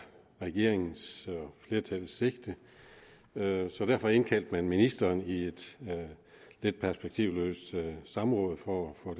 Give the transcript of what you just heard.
regeringens og flertallets sigte så derfor indkaldte man ministeren i et lidt perspektivløst samråd for at få